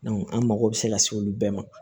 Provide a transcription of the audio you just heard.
an mago bɛ se ka se olu bɛɛ ma